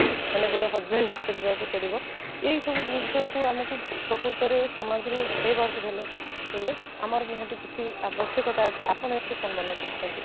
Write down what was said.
ମାନେ ଗୋଟେ husband ବି ଖୋଜିବାକୁ ପଡିବ ଏଇ ସବୁ ଦୃଶ୍ୟକୁ ଆମକୁ ପ୍ରକୃତରେ ସମାଜରେ ହଟେଇ ବାକୁ ହେଲେ ଆମର ନିହାତି ଏଠି ଆବଶ୍ୟକତା ଅଛି ଆପଣ ଏଥିରେ କ'ଣ ମାନେ କରୁଛନ୍ତି?